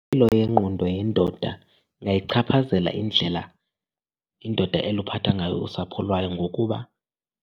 Impilo yengqondo yendoda ingayichaphazela indlela indoda eluphatha ngayo usapho lwayo ngokuba